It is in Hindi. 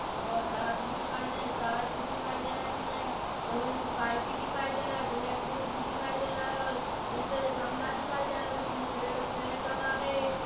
अ सड़क भी दिखाई दे टाइल्स दिखाई दे रही है लोहे की पाइप भी दिखाई दे रहा है बलेक वुड भी दिखाई दे रहा है और इसे गमला दिखाई दे रहा है उसमे पेड़-पेड़ लगा है।